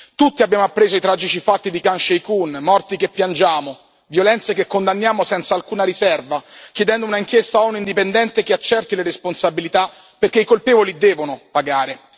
Tutti abbiamo appreso i tragici fatti di Khan Shaykhun, morti che piangiamo, violenze che condanniamo senza alcuna riserva, chiedendo un'inchiesta ONU indipendente che accerti le responsabilità perché i colpevoli devono pagare.